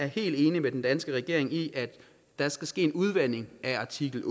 helt enig med den danske regering i at der skal ske en udvanding af artikel